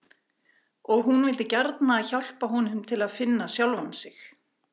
Og hún vildi gjarna hjálpa honum til þess að finna sjálfan sig.